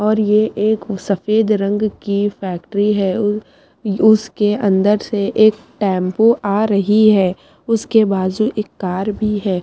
और ये एक सफ़ेद रंग की फैक्ट्री है उसके अंदर से एक टेम्पू आरही है उसके बाजु एक कार भी है।